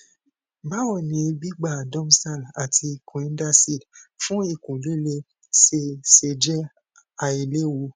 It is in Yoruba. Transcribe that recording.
báwo ni gbígba domstal àti coidacid fun ikun lile se se je ailewu